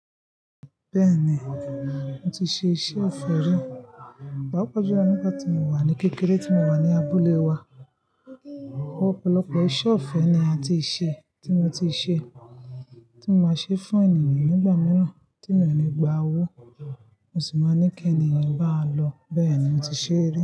Bẹ́ẹ̀ni, mo ti ṣe iṣẹ́ òfe rí, papajulo nígbà tí mo wà ní kékeré tí mo wà ní abúlé wa. Òpòlopò iṣẹ́ ọ̀fẹ́ ni a ti ṣe, tí mo ti ṣe, tí mo máa ń ṣe fún ènìyàn nígbà mìíràn tí mi ò ní gba owó, mo sì máa ń ní kí ènìyàn maa lọ. Bẹ́ẹ̀ni, mo ti ṣe rí.